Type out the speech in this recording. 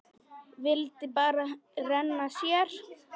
Vildi bara renna sér.